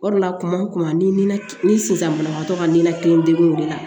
O de la kuma ni sisan banabagatɔ ka ninlakili degun de la